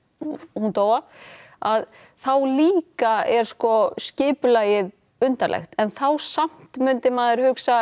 hún dó af þá líka er sko skipulagið undarlegt en þá samt líka myndi maður hugsa